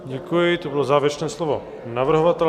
Děkuji, to bylo závěrečné slovo navrhovatele.